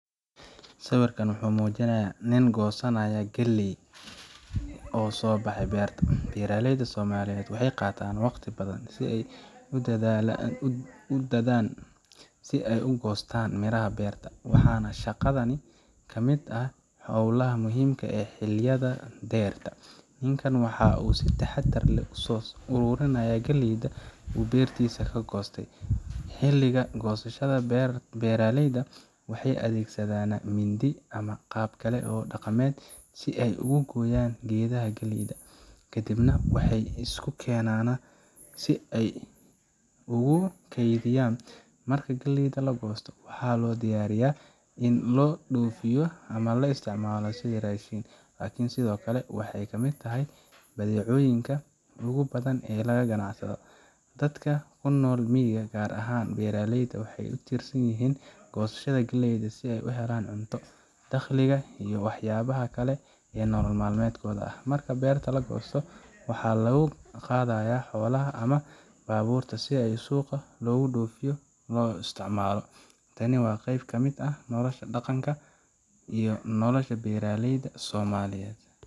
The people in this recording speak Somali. Sawirkan waxa uu muujinayaa nin goosanaya galley oo soo baxay beerta. Beeraleyda Soomaaliyeed waxay qaataan waqti badan iyo dadaan si ay u goostaan miraha beerta, waxaana shaqadani ka mid ah hawlaha muhiimka ah ee xilliga dayrta. Ninkaan waxaa uu si taxadar leh u soo ururinayaa galleydii uu beertiisa ka goostay. Xilliga goosashada, beeraleyda waxay adeegsanayaan mindi ama qaab kale oo dhaqameed si ay ugu gooyaan geedaha galleyda, kadibna waxay isu keenaana si ay ugu kaydiyaan. Marka galleyda la goosto, waxaa loo diyaariyaa in loo dhoofiyo ama loo isticmaalo sidii raashin, laakiin sidoo kale waxay ka mid tahay badeecooyinka ugu badan ee laga ganacsado. Dadka ku nool miyiga, gaar ahaan beeraleyda, waxay ku tiirsan yihiin goosashada galleyda si ay u helaan cunto, dakhliga, iyo waxyaabaha kale ee nolol maalmeedkooda. Marka beerta la goosto, waxaa lagu qaadayaa xoolaha ama baabuurta si ay suuqa loogu dhoofiyo ama loo isticmaalo. Tani waa qayb ka mid ah dhaqanka iyo nolosha beeraleyda Soomaaliyeed.